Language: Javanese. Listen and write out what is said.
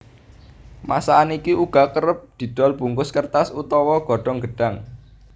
Masakan iki uga kerep didol bungkus kertas utawa godhong gedhang